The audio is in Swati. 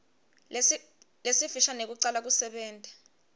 lesifisha nekucala kusebenta